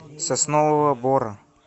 соснового бора